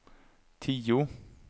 tio